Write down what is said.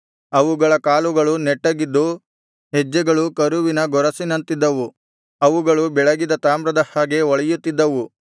ಅವುಗಳ ಕಾಲುಗಳು ನೆಟ್ಟಗಿದ್ದು ಹೆಜ್ಜೆಗಳು ಕರುವಿನ ಗೊರಸಿನಂತಿದ್ದವು ಅವುಗಳು ಬೆಳಗಿದ ತಾಮ್ರದ ಹಾಗೆ ಹೊಳೆಯುತ್ತಿದ್ದವು